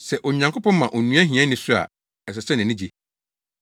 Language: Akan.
Sɛ Onyankopɔn ma onua hiani so a, ɛsɛ sɛ nʼani gye,